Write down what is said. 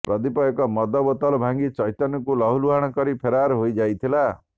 ପ୍ରଦୀପ ଏକ ମଦ ବୋତଲ ଭାଙ୍ଗି ଚୈତନ୍ୟଙ୍କୁ ଲହୁଲୁହାଣ କରି ଫେରାର ହୋଇ ଯାଇଥିଲା